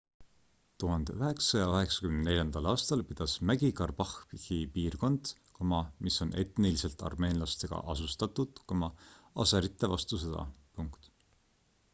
1994 aastal pidas mägi-karbahhi piirkond mis on etniliselt armeenlastega asustatud aserite vastu sõda